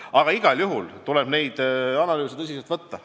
Aga igal juhul tuleb neid analüüse tõsiselt võtta.